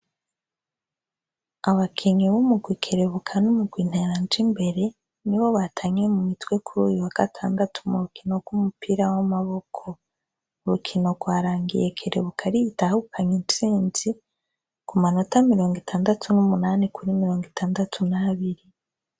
Abakinyi b'umurwi Kerebuka n'umurwi Nteranjimbere, ni bo batanye mu mitwe kuri uyu wa gatandatu mu rukino rw'umupira w'amaboko. Urukino rwarangiye Kerebuka ariyo itahukanye intsinzi, ku manota mirongo itandatu n'umunani kuri mirongo itandatu n'abiri.